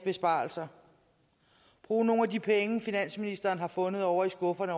besparelser brug nogle af de penge finansministeren har fundet ovre i skufferne